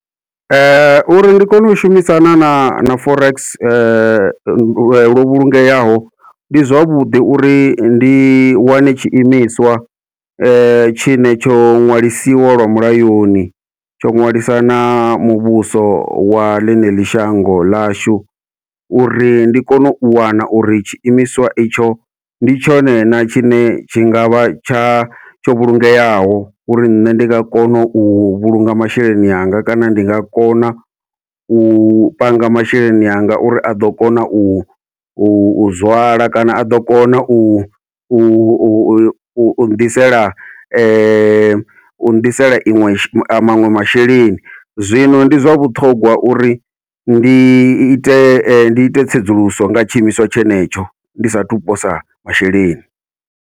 Uri ndi kone u shumisana na na forex lwo vhulungeaho, ndi zwavhuḓi uri ndi wane tshiimiswa tshine tsho ṅwalisiwa lwa mulayoni tsho ṅwalisa na muvhuso wa ḽineḽi shango ḽashu, uri ndi kone u wana uri tshiimiswa itsho ndi tshone na tshine tshi ngavha tsha tsho vhulungeaho uri nṋe ndi nga kona u vhulunga masheleni anga, kana ndi nga kona u panga masheleni anga uri a ḓo kona u u zwala kana a ḓo kona u u u nnḓisela u nnḓisela iṅwe maṅwe masheleni. Zwino ndi zwa vhuṱhongwa uri ndi ite ndi ite tsedzuluso nga tshiimiswa tshenetsho ndi sathu posa masheleni.